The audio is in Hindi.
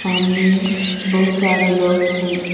सामने बहुत सारे लोग है।